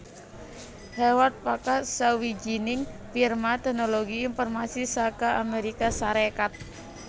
Hewlett Packard sawijining firma têknologi informasi saka Amérika Sarékat